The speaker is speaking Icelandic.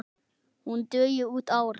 Hún dugi út árið.